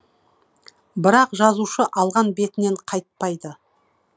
бірақ жазушы алған бетінен қайтпайды